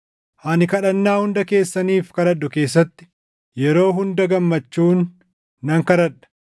Ani kadhannaa hunda keessaniif kadhadhu keessatti yeroo hunda gammachuun nan kadhadha;